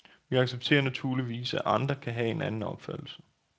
Vi accepterer naturligvis, at andre kan have en anden opfattelse.